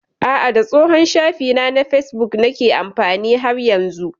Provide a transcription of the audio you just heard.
A'a, da tsohon shafina na facebook nake amfani har yanzu.